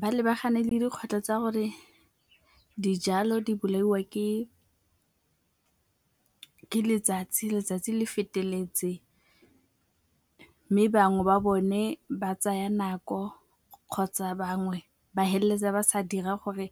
Ba lebagane le dikgwetlho tsa gore dijalo di bolaiwa ke letsatsi le feteletseng mme bangwe ba bone ba tsaya nako kgotsa bangwe ba feleletsa ba sa dira gore